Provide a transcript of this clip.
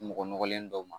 Mɔgɔ nɔgɔlen dɔw ma